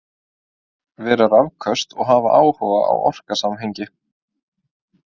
Vera rökföst og hafa áhuga á orsakasamhengi.